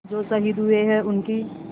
जो शहीद हुए हैं उनकी